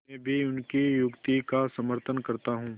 मैं भी उनकी युक्ति का समर्थन करता हूँ